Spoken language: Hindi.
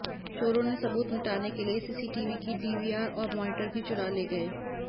चोरों ने सबूत मिटाने के लिए सीसीटीवी की डीवीआर और मॉनिटर भी चुरा ले गए